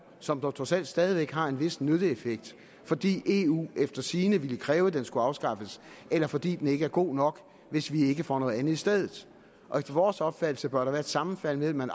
som dog trods alt stadig væk har en vis nytteeffekt fordi eu efter sigende ville kræve at den skulle afskaffes eller fordi den ikke er god nok hvis vi ikke får noget andet i stedet og efter vores opfattelse bør der være et sammenfald mellem at